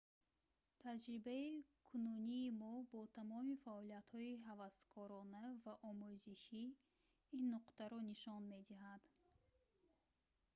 таҷрибаи кунунии мо бо тамоми фаъолиятҳои ҳаваскорона ва омӯзишӣ ин нуктаро нишон медиҳад